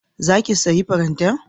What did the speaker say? Za ki sayi farantan?